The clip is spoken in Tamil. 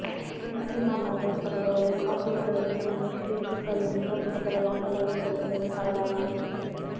முஸ்லிம் அல்லாதோர் சகலரும் காஃபிர்கள் என்றோ முஷ்ரிக்குகள் என்றோ பொதுப்படையாக வகைப்படுத்துவது தவறாகும்